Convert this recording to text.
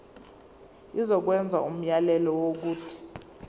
izokwenza umyalelo wokuthi